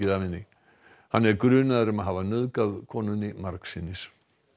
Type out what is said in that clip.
af henni hann er grunaður um að hafa nauðgað konunni margsinnis